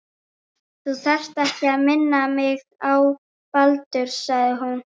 Þú þarft ekki að minna mig á Baldur- sagði hún.